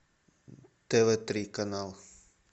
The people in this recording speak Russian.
тв три канал